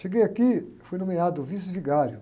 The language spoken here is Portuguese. Cheguei aqui, fui nomeado vice vigário.